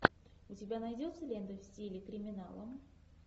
у тебя найдется лента в стиле криминала